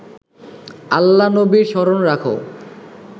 আল্লা-নবী স্মরণ রাখ